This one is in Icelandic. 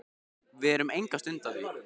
Við erum enga stund að því.